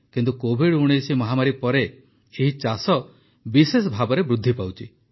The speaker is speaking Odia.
କିନ୍ତୁ କୋଭିଡ୧୯ ମହାମାରୀ ପରେ ଏହି ଚାଷ ବିଶେଷ ଭାବେ ବୃଦ୍ଧି ପାଉଛି